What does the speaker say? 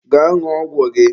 Gaa ṅụọ ọgwụ gị!